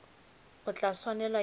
o tla swanela ke go